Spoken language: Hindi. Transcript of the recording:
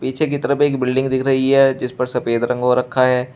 पीछे की तरफ एक बिल्डिंग दिख रही है जिस पर सफेद रंग हो रखा है।